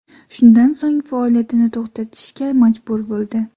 Shundan so‘ng faoliyatini to‘xtatishga majbur bo‘ldi.